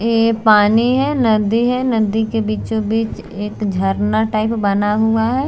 ये पानी है नदी है नदी के बीचों-बीच एक झरना टाइप बना हुआ है।